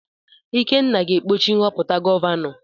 Ikenna ga-ekpuchi nhọpụta gọvanọ.